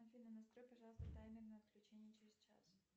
афина настрой пожалуйста таймер на отключение через час